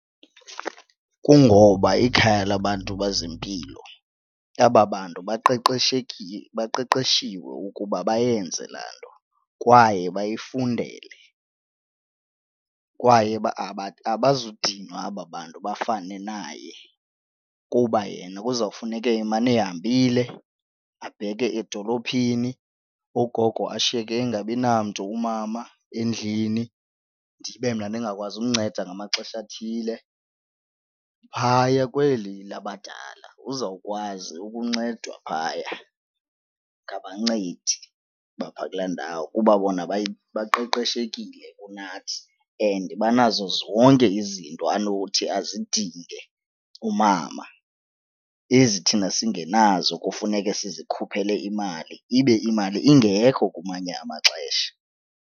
Kungoba ikhaya labantu bezempilo aba bantu baqeqeshekile baqeqeshiwe ukuba bayenze laa nto kwaye bayifundele. Kwaye abazudinwa aba bantu bafane naye kuba yena kuzawufuneke emane ehambile abheke edolophini ugogo ashiyeke engabinamntu, umama endlini, ndibe mna ndingakwazi ukumnceda ngamaxesha athile. Phaya kweli labadala uzawukwazi ukuncedwa phaya ngabancedi baphaa kulaa ndawo kuba bona baqeqeshekile kunathi and banazo zonke izinto anothi azidinge umama, ezi thina singenazo kufuneke sizikhuphele imali ibe imali ingekho kumanye amaxesha.